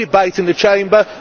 no debate in the Chamber